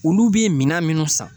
Olu bɛ minan minnu san